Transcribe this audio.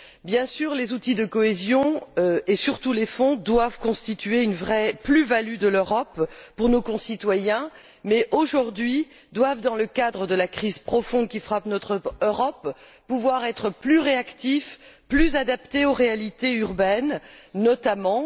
Bien sûr, les outils de cohésion, et surtout les fonds, doivent constituer une vraie plus value de l'Europe pour nos concitoyens mais, aujourd'hui, ils doivent, dans le cadre de la crise profonde qui frappe l'Europe, pouvoir être plus réactifs, plus adaptés aux réalités urbaines notamment.